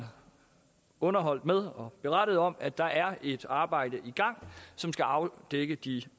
underholdt med og berettet om at der er et arbejde i gang som skal afdække de